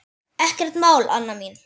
Ekkert mál, Anna mín.